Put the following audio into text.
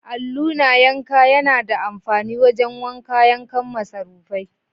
Alluna yanka yAna da amfani wajan wanka kayan masarufai